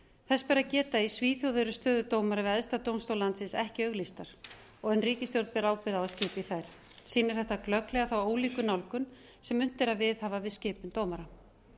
þess ber að geta að í svíþjóð eru stöður dómara æðsta dómstól landsins ekki auglýstar en ríkisstjórn ber ábyrgð á að skipa í þær sýnir þetta glögglega ólíka nálgun sem unnt er að viðhafa við skipun dómara